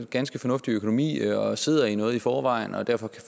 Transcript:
ganske fornuftig økonomi og sidder i noget i forvejen og derfor kan